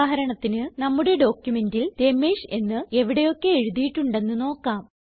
ഉദാഹരണത്തിന് നമ്മുടെ ഡോക്യുമെന്റിൽ രമേഷ് എന്ന് എവിടെയൊക്കെ എഴുതിയിട്ടുണ്ടെന്ന് നോക്കാം